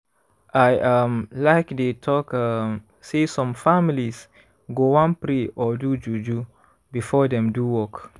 i um like dey talk um say some families go wan pray or do juju before dem do work.